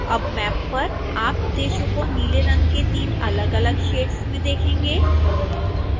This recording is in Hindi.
अब मैप पर आप देशों को नीले रंग के 3 अलगअलग शेड्स में देखेंगे